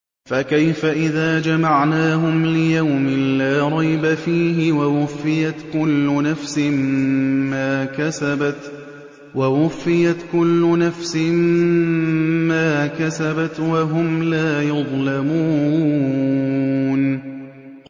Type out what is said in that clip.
فَكَيْفَ إِذَا جَمَعْنَاهُمْ لِيَوْمٍ لَّا رَيْبَ فِيهِ وَوُفِّيَتْ كُلُّ نَفْسٍ مَّا كَسَبَتْ وَهُمْ لَا يُظْلَمُونَ